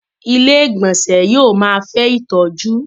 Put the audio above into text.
Ilé-ìgbọnsẹ̀ yóò máa fẹ́ ìtọ́jú.